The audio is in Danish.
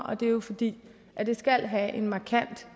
og det er jo fordi det skal have en markant